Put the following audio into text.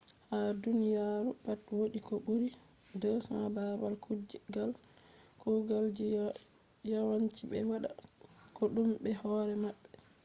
ha duniya ru pat wodi ko buri 200 babal kugal ji. yawan ci be wada kodume be hore mabbe